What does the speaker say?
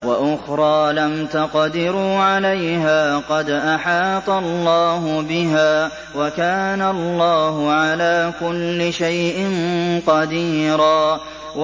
وَأُخْرَىٰ لَمْ تَقْدِرُوا عَلَيْهَا قَدْ أَحَاطَ اللَّهُ بِهَا ۚ وَكَانَ اللَّهُ عَلَىٰ كُلِّ شَيْءٍ قَدِيرًا